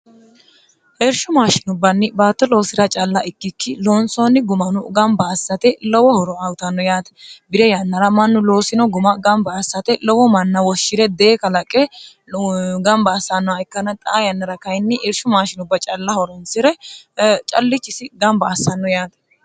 heersho maashinubbanni baate loosira calla ikkikki loonsooni gumanu gamba assate lowo horo ayutanno yaate bire yannara mannu loosino guma gamba assate lowo manna woshshi're dee kalaqe gamba assannoh ikkana xa yannira kayinni iershu maashinubba calla horonsi're callichisi gamba assanno yaate